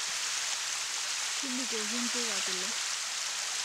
Tubukoki mpuka kule